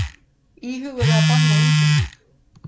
Íhuguðu að banna innflutning